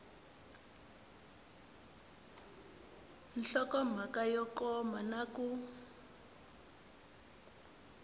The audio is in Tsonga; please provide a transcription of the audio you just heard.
nhlokomhaka yo koma na ku